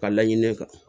Ka laɲini ne kan